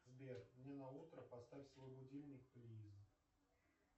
сбер мне на утро поставь свой будильник плиз